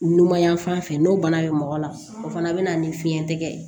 Numan yan fan fɛ n'o bana be mɔgɔ la o fana be na ni fiɲɛ tigɛ